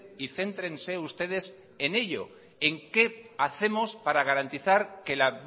y céntrense ustedes en ello en qué hacemos para garantizar que la